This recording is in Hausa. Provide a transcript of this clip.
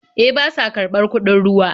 E, ba sa karɓar kuɗin ruwa.